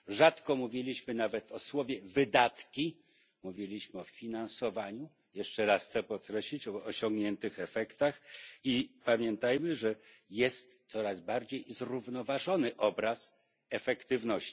Rzadko używaliśmy nawet słowa wydatki, mówiliśmy o finansowaniu, jeszcze raz chcę podkreślić o osiągniętych efektach i pamiętajmy, że jest coraz bardziej zrównoważony obraz efektywności.